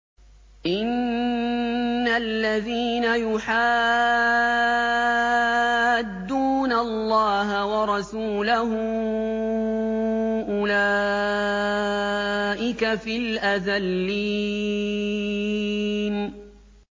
إِنَّ الَّذِينَ يُحَادُّونَ اللَّهَ وَرَسُولَهُ أُولَٰئِكَ فِي الْأَذَلِّينَ